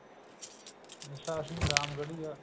Jassa Singh Ramgarhia